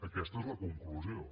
aquesta és la conclusió